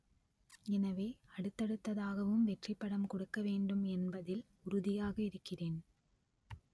எனவே அடுத்தடுத்ததாகவும் வெற்றி படம் கொடுக்க வேண்டும் என்பதில் உறுதியாக இருக்கிறேன்